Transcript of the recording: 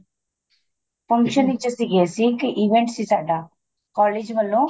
function ਵਿੱਚ ਸੀਗੇ ਅਸੀਂ ਇੱਕ event ਸੀ ਸਾਡਾ college ਵੱਲੋਂ